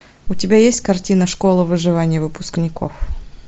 у тебя есть картина школа выживания выпускников